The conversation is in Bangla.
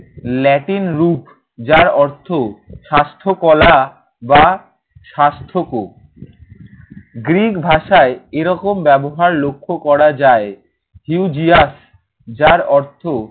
ল্যাটিন রূপ। যার অর্থ স্বাস্থ্য কলা বা স্বাস্থ্যকর। গ্রিক ভাষায় এরকম ব্যবহার লক্ষ্য করা যায়। heyugius যার অর্থ